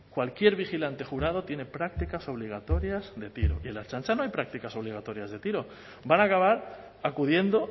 cualquier vigilante jurado tiene prácticas obligatorias de tiro y en la ertzaintza no hay prácticas obligatorias de tiro van a acabar acudiendo